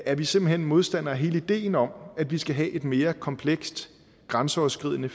er vi simpelt hen modstandere af hele ideen om at vi skal have et mere komplekst grænseoverskridende